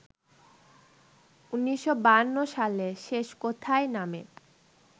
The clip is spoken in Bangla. ১৯৫২ সালে ‘শেষ কোথায়’ নামে